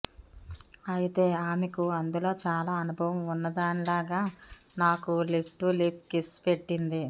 అయితే ఆమెకు అందులో చాలా అనుభవం ఉన్నదానిలాగా నాకు లిప్ టు లిప్ కిస్ పెట్టింది